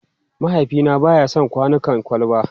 Mahaifina ba ya son kwanukan kwalba.